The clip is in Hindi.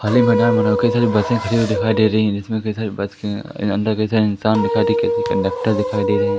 खाली मैदान बना हुआ कई सारे बसें खड़ी हुई दिखाई दे रही हैं जिसमें कई सारे बस के अंदर कई सारे इंसान दिखाई दे कई सारे कंडक्टर दिखाई दे रहे हैं।